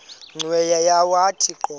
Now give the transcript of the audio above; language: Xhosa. cweya yawathi qobo